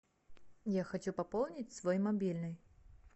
я хочу пополнить свой мобильный